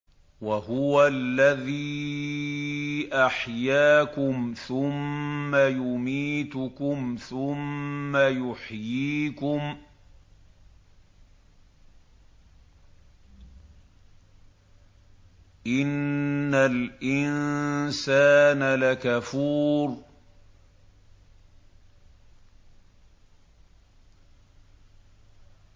وَهُوَ الَّذِي أَحْيَاكُمْ ثُمَّ يُمِيتُكُمْ ثُمَّ يُحْيِيكُمْ ۗ إِنَّ الْإِنسَانَ لَكَفُورٌ